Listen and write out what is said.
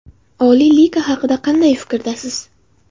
Oliy liga haqida qanday fikrdasiz?